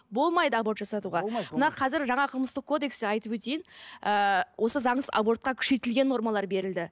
болмайды аборт жасатуға мына қазір жаңа қылмыстық кодексті айтып өтейін ыыы осы заңсыз абортқа күшейтілген нормалар берілді